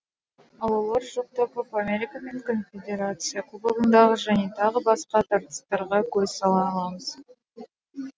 ал олар жоқта копа америка мен конфедерация кубогындағы және тағы басқа тартыстарға көз сала аламыз